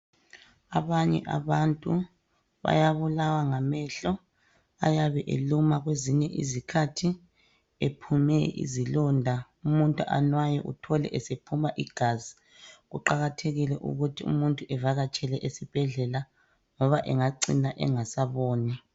Abanye abantu bayabulawa ngamehlo, ayabe eluma kwezinye izikhathi ephume izilonda, umuntu anwaye uthole ese phuma igazi, kuqakathekile ukuthi umuntu evakatshele esibhedlela ngoba engacina engasaboni.